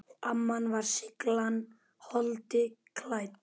Amma var seiglan holdi klædd.